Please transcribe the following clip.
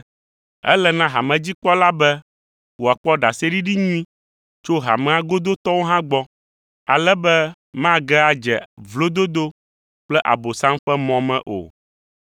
Ele na hamedzikpɔla be wòakpɔ ɖaseɖiɖi nyui tso hamea godotɔwo hã gbɔ, ale be mage adze vlododo kple Abosam ƒe mɔ me o.